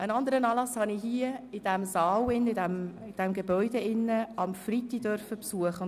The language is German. Einen anderen Anlass durfte ich am Freitag im Rathaus besuchen.